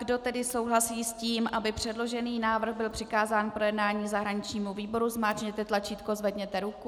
Kdo tedy souhlasí s tím, aby předložený návrh byl přikázán k projednání zahraničnímu výboru, zmáčkněte tlačítko, zvedněte ruku.